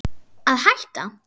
Að hætta?